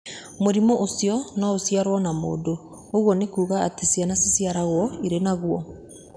Mũrimũ ũcio nĩ ũciaragwo na mũndũ, ũguo nĩ kuuga atĩ ciana ciciaragwo irĩ naguo.